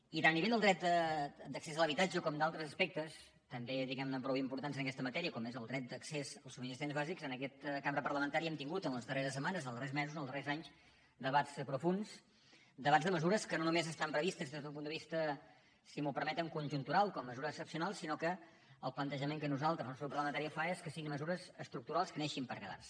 i tant a nivell del dret d’accés a l’habitatge com d’altres aspectes també diguem ne prou importants en aquesta matèria com és el dret d’accés a subministraments bàsics en aquesta cambra parlamentària hem tingut en les darreres setmanes en els darrers mesos ens els darrers anys debats profunds debats de mesures que no només estan previstes des del punt de vista si m’ho permeten conjuntural com a mesura excepcional sinó que el plantejament que nosaltres el nostre grup parlamentari fa és que siguin mesures estructurals que neixin per quedar se